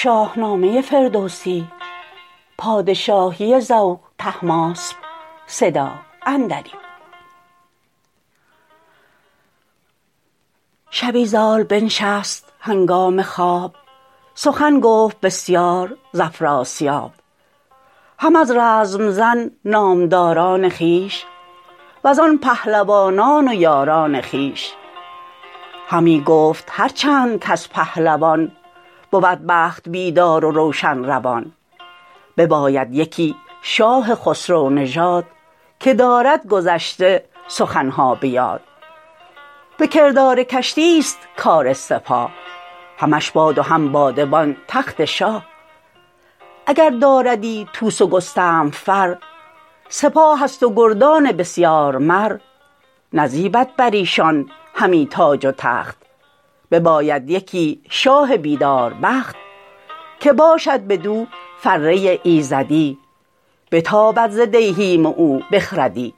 شبی زال بنشست هنگام خواب سخن گفت بسیار ز افراسیاب هم از رزم زن نامداران خویش وزان پهلوانان و یاران خویش همی گفت هرچند کز پهلوان بود بخت بیدار و روشن روان بباید یکی شاه خسرو نژاد که دارد گذشته سخن ها به یاد به کردار کشتی ست کار سپاه همش باد و هم بادبان تخت شاه اگر داردی طوس و گستهم فر سپاه است و گردان بسیار مر نزیبد بر ایشان همی تاج و تخت بباید یکی شاه بیداربخت که باشد بدو فره ایزدی بتابد ز دیهیم او بخردی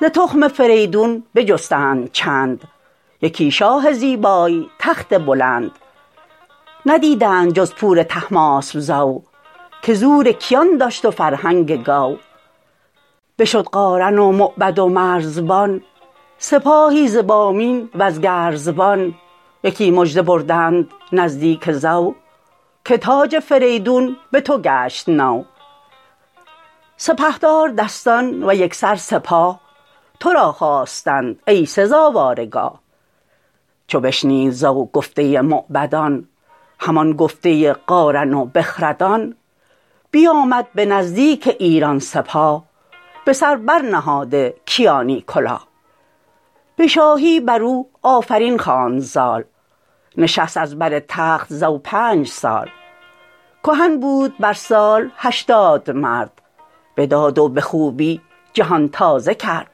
ز تخم فریدون بجستند چند یکی شاه زیبای تخت بلند ندیدند جز پور طهماسپ زو که زور کیان داشت و فرهنگ گو بشد قارن و موبد و مرزبان سپاهی ز بامین و ز گرزبان یکی مژده بردند نزدیک زو که تاج فریدون به تو گشت نو سپهدار دستان و یکسر سپاه ترا خواستند ای سزاوار گاه چو بشنید زو گفته موبدان همان گفته قارن و بخردان بیامد به نزدیک ایران سپاه به سر بر نهاده کیانی کلاه به شاهی بر او آفرین خواند زال نشست از بر تخت زو پنج سال کهن بود بر سال هشتاد مرد به داد و به خوبی جهان تازه کرد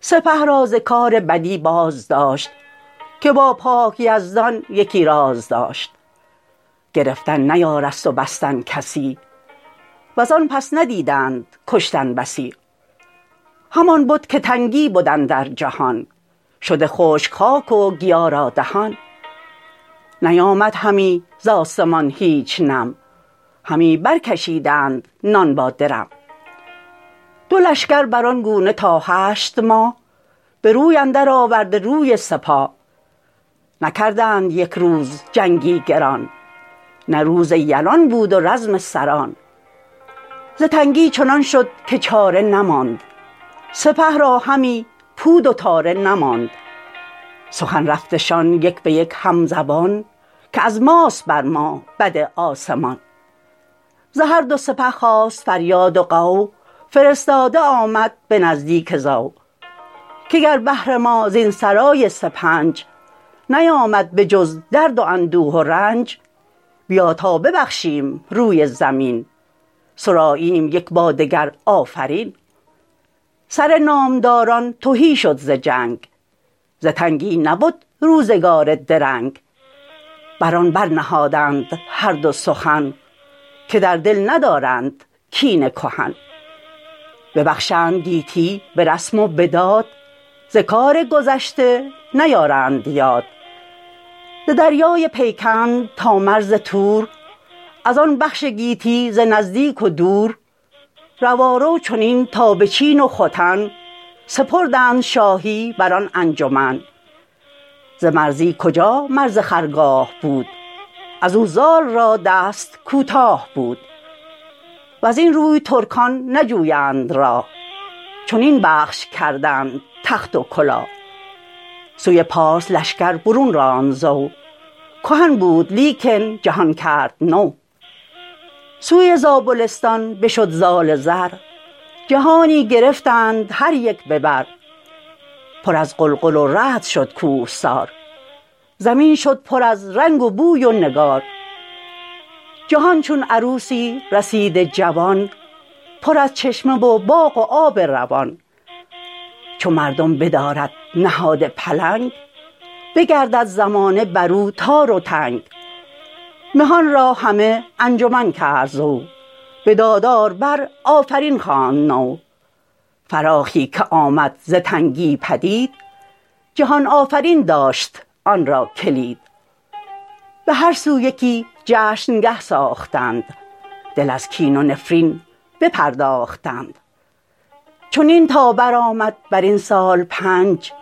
سپه را ز کار بدی باز داشت که با پاک یزدان یکی راز داشت گرفتن نیارست و بستن کسی وزان پس ندیدند کشتن بسی همان بد که تنگی بد اندر جهان شده خشک خاک و گیا را دهان نیامد همی ز آسمان هیچ نم همی برکشیدند نان با درم دو لشکر بران گونه تا هشت ماه به روی اندر آورده روی سپاه نکردند یک روز جنگی گران نه روز یلان بود و رزم سران ز تنگی چنان شد که چاره نماند سپه را همی پود و تاره نماند سخن رفتشان یک به یک هم زبان که از ماست بر ما بد آسمان ز هر دو سپه خاست فریاد و غو فرستاده آمد به نزدیک زو که گر بهر ما زین سرای سپنج نیامد به جز درد و اندوه و رنج بیا تا ببخشیم روی زمین سراییم یک با دگر آفرین سر نامداران تهی شد ز جنگ ز تنگی نبد روزگار درنگ بر آن برنهادند هر دو سخن که در دل ندارند کین کهن ببخشند گیتی به رسم و به داد ز کار گذشته نیارند یاد ز دریای پیکند تا مرز تور ازان بخش گیتی ز نزدیک و دور روارو چنین تا به چین و ختن سپردند شاهی بران انجمن ز مرزی کجا مرز خرگاه بود ازو زال را دست کوتاه بود وزین روی ترکان نجویند راه چنین بخش کردند تخت و کلاه سوی پارس لشکر برون راند زو کهن بود لیکن جهان کرد نو سوی زابلستان بشد زال زر جهانی گرفتند هر یک به بر پر از غلغل و رعد شد کوهسار زمین شد پر از رنگ و بوی و نگار جهان چون عروسی رسیده جوان پر از چشمه و باغ و آب روان چو مردم بدارد نهاد پلنگ بگردد زمانه بر او تار و تنگ مهان را همه انجمن کرد زو به دادار بر آفرین خواند نو فراخی که آمد ز تنگی پدید جهان آفرین داشت آن را کلید به هر سو یکی جشن گه ساختند دل از کین و نفرین بپرداختند چنین تا برآمد برین سال پنج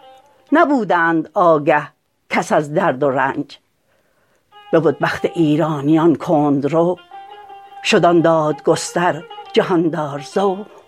نبودند آگه کس از درد و رنج ببد بخت ایرانیان کندرو شد آن دادگستر جهاندار زو